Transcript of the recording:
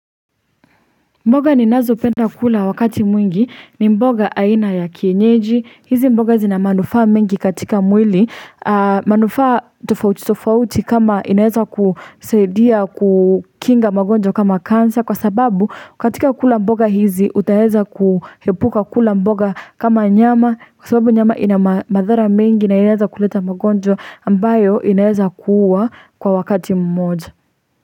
Mboga ninazopenda kula wakati mwingi ni mboga aina ya kienyeji, hizi mboga zina manufaa mingi katika mwili manufaa tufauti tufauti kama inaweza kusaidia kukinga magonjwa kama kansa kwa sababu katika kula mboga hizi utaweza kuepuka kula mboga kama nyama kwa sababu nyama ina madhara mingi na inaeza kuleta magonjwa ambayo inaeza kuuwa. Kwa wakati mmoja.